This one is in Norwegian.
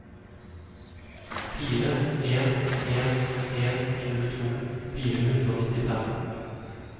fire en en en tjueto fire hundre og nittifem